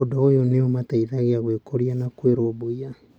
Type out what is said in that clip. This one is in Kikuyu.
Ũndũ ũyũ nĩ ũmateithagia gwĩkũria na kwĩrũmbũiya.